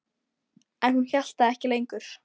En hún hélt það ekki lengur.